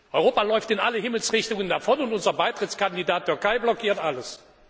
Europa läuft in alle Himmelsrichtungen davon und unser Beitrittskandidat Türkei blockiert alles.